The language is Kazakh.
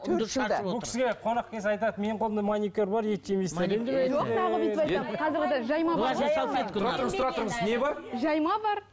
бұл кісіге қонақ келсе айтады менің қолымда маникюр бар ет жемейсіздер тұра тұрыңыз тура тұрыңыз не бар жайма бар